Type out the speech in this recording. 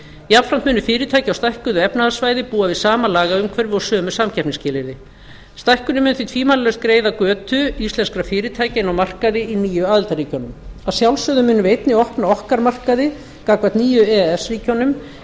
jafnframt munu fyrirtæki á stækkuðu efnahagssvæði búa við sama lagaumhverfi og sömu samkeppnisskilyrði stækkunin mun því tvímælalaust greiða götu íslenskra fyrirtækja inn á markaði í nýju aðildarríkjunum að sjálfsögðu munum við einnig opna okkar markaði gagnvart nýju e e s ríkjunum